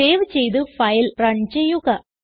save ചെയ്ത് file run ചെയ്യുക